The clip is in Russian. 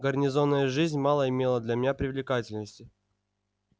гарнизонная жизнь мало имела для меня привлекательности